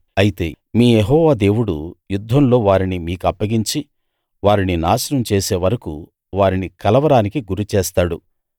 అయితే మీ యెహోవా దేవుడు యుద్ధంలో వారిని మీకప్పగించి వారిని నాశనం చేసేవరకూ వారిని కలవరానికి గురిచేస్తాడు